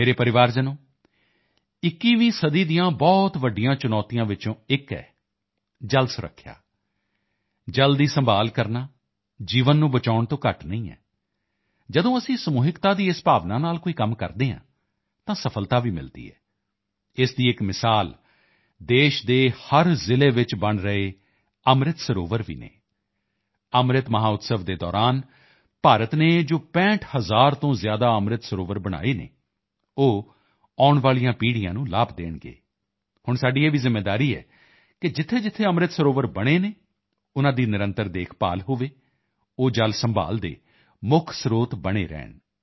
ਮੇਰੇ ਪਰਿਵਾਰਜਨੋਂ 21ਵੀਂ ਸਦੀ ਦੀਆਂ ਬਹੁਤ ਵੱਡੀਆਂ ਚੁਣੌਤੀਆਂ ਵਿੱਚੋਂ ਇੱਕ ਹੈ ਜਲ ਸੁਰੱਖਿਆ ਜਲ ਦੀ ਸੰਭਾਲ਼ ਕਰਨਾ ਜੀਵਨ ਨੂੰ ਬਚਾਉਣ ਤੋਂ ਘੱਟ ਨਹੀਂ ਹਵ ਜਦੋਂ ਅਸੀਂ ਸਮੂਹਿਕਤਾ ਦੀ ਇਸ ਭਾਵਨਾ ਨਾਲ ਕੋਈ ਕੰਮ ਕਰਦੇ ਹਾਂ ਤਾਂ ਸਫ਼ਲਤਾ ਭੀ ਮਿਲਦੀ ਹੈ ਇਸ ਦਾ ਇੱਕ ਉਦਾਹਰਣ ਦੇਸ਼ ਦੇ ਹਰ ਜ਼ਿਲ੍ਹੇ ਵਿੱਚ ਬਣ ਰਹੇ ਅੰਮ੍ਰਿਤ ਸਰੋਵਰ ਭੀ ਹਨ ਅੰਮ੍ਰਿਤ ਮਹੋਤਸਵ ਦੇ ਦੌਰਾਨ ਭਾਰਤ ਨੇ ਜੋ 65000 ਤੋਂ ਜ਼ਿਆਦਾ ਅੰਮ੍ਰਿਤ ਸਰੋਵਰ ਬਣਾਏ ਹਨ ਉਹ ਆਉਣ ਵਾਲੀਆਂ ਪੀੜ੍ਹੀਆਂ ਨੂੰ ਲਾਭ ਦੇਣਗੇ ਹੁਣ ਸਾਡੀ ਇਹ ਭੀ ਜ਼ਿੰਮੇਵਾਰੀ ਹੈ ਕਿ ਜਿੱਥੇਜਿੱਥੇ ਅੰਮ੍ਰਿਤ ਸਰੋਵਰ ਬਣੇ ਹਨ ਉਨ੍ਹਾਂ ਦੀ ਨਿਰੰਤਰ ਦੇਖਭਾਲ ਹੋਵੇ ਉਹ ਜਲ ਸੰਭਾਲ਼ ਦੇ ਮੁੱਖ ਸਰੋਤ ਬਣੇ ਰਹਿਣ